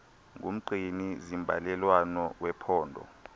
ngumgcini zimbalelwano wephondo